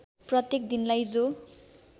प्रत्येक दिनलाई जो